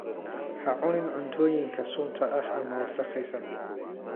Ha cunin cuntooyinka sunta ah ama wasakhaysan.